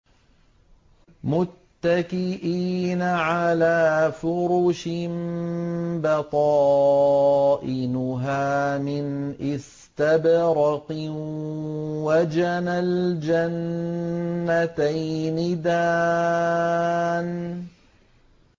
مُتَّكِئِينَ عَلَىٰ فُرُشٍ بَطَائِنُهَا مِنْ إِسْتَبْرَقٍ ۚ وَجَنَى الْجَنَّتَيْنِ دَانٍ